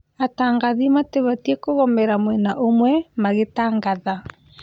Atangathi matibatiĩ kũgomera mwena ũmwe magĩtangatha